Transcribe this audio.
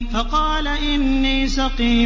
فَقَالَ إِنِّي سَقِيمٌ